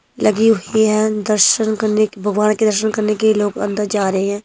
लगी हुई है दर्शन करने के भगवान के दर्शन करने के लोग अंदर जा रहे हैं।